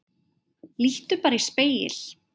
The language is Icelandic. Líttu bara í spegil.